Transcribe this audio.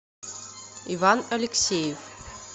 иван алексеев